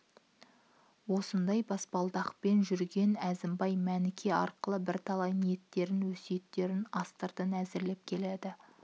осындай баспалдақпен жүрген әзімбай мәніке арқылы бірталай ниеттерін өсиеттерін астыртын әзірлеп келді